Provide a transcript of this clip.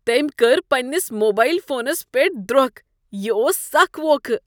تمۍ كٕر پننِس موبایل فونس پیٹھ دروكھ ۔ یہِ اوس سخ ووکھٕ۔